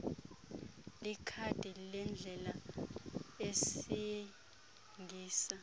likhadi lendlela esingisa